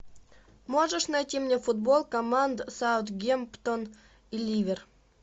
можешь найти мне футбол команд саутгемптон и ливер